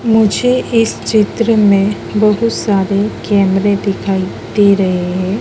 मुझे इस चित्र में बहुत सारे कैमरे दिखाई दे रहे हैं।